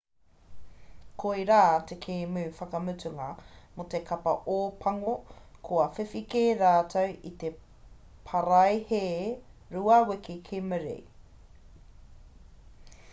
koirā te kēmu whakamutunga mō te kapa ōpango kua whiwhi kē rātou i te paraihee rua wiki ki muri